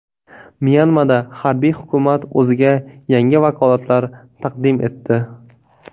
Myanmada harbiy hukumat o‘ziga yangi vakolatlar taqdim etdi.